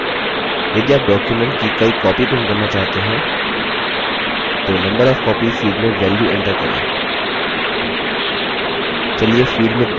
यदि आप document की कई copies print करना चाहते हैं तो number of copies field में value enter करें चलिए field में 2 value enter करते हैं